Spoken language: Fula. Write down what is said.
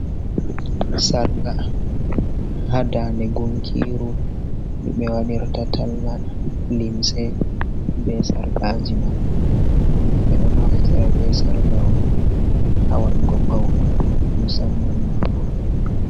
Sarqa ha dande gunkiru ndu ɓe waɗɗirta talla linse ɓe sarqaji man, bedo naftira be sarqa on ha wadugo paune musamman ma roɓe.